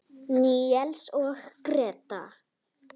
Níels og Gréta.